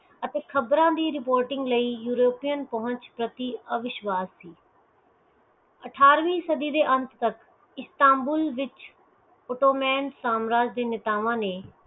ਅਤੇ ਖ਼ਬਰਾਂ ਦੀ reporting ਲਈ ਯੂਰੋਪੀਅਨ ਪੁਹੰਚ ਪ੍ਰਤੀ ਅਵਿਸ਼ਵਾਸ ਸੀ ਅਠਾਰਵੀਂ ਸਦੀ ਦੇ ਅੰਤ ਤਕ ਇਸਤੰਬੂਲ ਵਿਚ ottoman ਸਮਰਾਜ ਦੇ ਨੇਤਾਵਾਂ ਨੇ